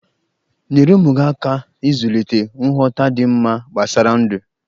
Nyere ụmụ gi aka ịzulịte nghọta dị mma gbasara ndụ.